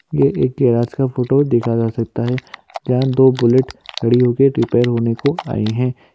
ये एक गिराज का फ़ोटो दिखा जा सकता है जहाँ दो बुलेट खड़ी हो के रिपेयर होने को आई हैं।